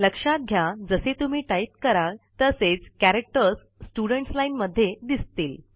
लक्षात घ्या जसे तुम्ही टाईप कराल तसेच कॅरेक्टर्स स्टुडेंट्स lineमध्ये दिसतील